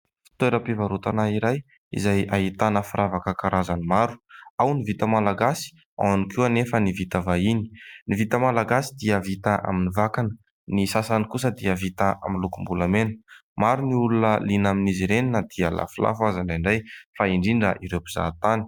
Toeram-pivarotana iray izay ahitana firavaka karazany maro : ao ny vita malagasy, ao ihany koa anefa ny vita vahiny. Ny vita malagasy dia vita amin'ny vakana, ny sasany kosa dia vita amin'ny lokom-bolamena. Maro ny olona liana amin'izy ireny, na dia lafolafo aza indraindray, fa indrindra ireo mpizaha tany.